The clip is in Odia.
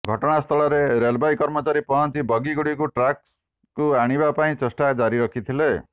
ଘଟଣାସ୍ଥଳରେ ରେଳବାଇ କର୍ମଚାରୀ ପହଞ୍ଚି ବଗିଗୁଡ଼ିକୁ ଟ୍ରାକ୍କୁ ଆଣିବା ଲାଗି ଚେଷ୍ଟା ଜାରି ରଖିଛନ୍ତି